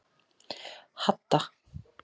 Hadda